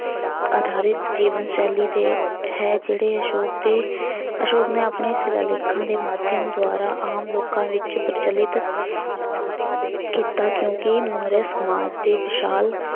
ਆਧਾਰਿਤ ਜੀਵਨ ਸ਼ੈਲੀ ਦੇ ਹੈ ਜਿਹੜੇ ਅਸ਼ੌਕ ਦੇ ਅਸ਼ੌਕ ਨੇ ਆਪਣੇ ਸਿਲਾਲੇਖਾਂ ਦੇ ਮਾਧਿਅਮ ਦੁਆਰਾ ਆਮ ਲੋਕਾਂ ਵਿੱਚ ਪ੍ਰਚਲਿਤ ਕੀਤਾ ਕਿਉਂਕਿ ਮੌਰੀਆ ਸਮਾਜ ਦੇ ਵਿਸ਼ਾਲ